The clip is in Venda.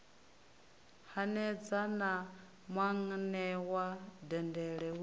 hanedza na muanewa dendele hu